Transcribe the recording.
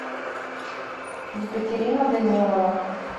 екатерина данилова